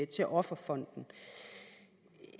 til offerfonden